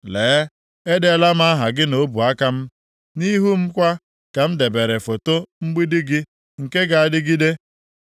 Lee, edeela m aha gị nʼọbụaka m, nʼihu m kwa ka m debere foto mgbidi gị nke ga-adịgide.